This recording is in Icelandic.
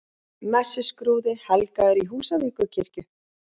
Messuskrúði helgaður í Húsavíkurkirkju